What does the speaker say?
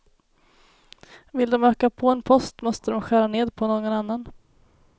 Vill de öka på en post, måste de skära ned på någon annan.